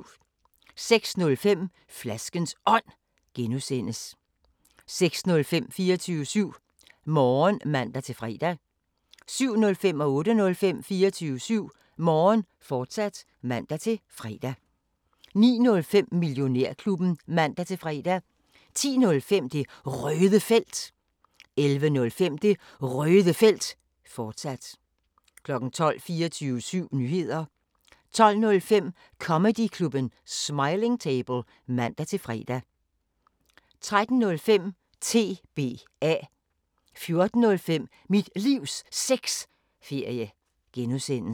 05:05: Flaskens Ånd (G) 06:05: 24syv Morgen (man-fre) 07:05: 24syv Morgen, fortsat (man-fre) 08:05: 24syv Morgen, fortsat (man-fre) 09:05: Millionærklubben (man-fre) 10:05: Det Røde Felt 11:05: Det Røde Felt, fortsat 12:00 24syv Nyheder 12:05: Comedyklubben Smiling Table (man-fre) 13:05: TBA 14:05: Mit Livs Sexferie (G)